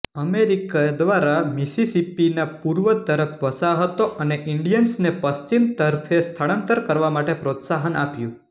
America દ્વારા મિસિસિપીની પૂર્વ તરફે વસાહતો અને ઇન્ડિયન્સને પશ્ચિમ તરફે સ્થળાંતર કરવા માટે પ્રોત્સાહન આપ્યું